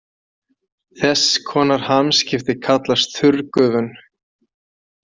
Þess konar hamskipti kallast þurrgufun.